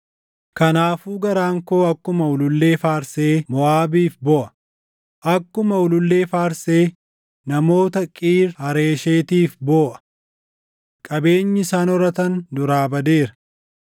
“Kanaafuu garaan koo akkuma ulullee faarsee Moʼaabiif booʼa; akkuma ulullee faarsee namoota Qiir Hareeshetiif booʼa. Qabeenyi isaan horatan duraa badeera.